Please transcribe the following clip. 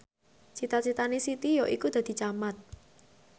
cita citane Siti yaiku dadi camat